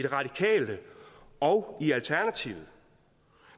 radikale og i alternativet